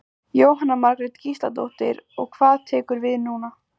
Jóhanna Margrét Gísladóttir: Og hvað tekur núna við?